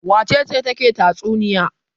Wace ce take tatsuniya?